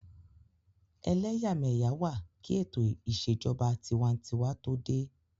Ẹlẹ́yàmẹ́yà wà kí ètò ìṣèjọba tinwatinwa tó dé